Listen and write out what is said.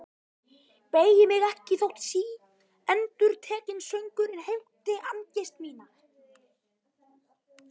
Beygi mig ekki þótt síendurtekinn söngurinn heimti angist mína.